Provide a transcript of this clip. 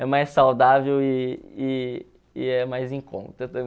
É mais saudável e e e é mais em conta também.